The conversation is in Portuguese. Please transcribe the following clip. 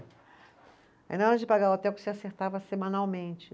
Aí na hora de pagar o hotel, porque você acertava semanalmente.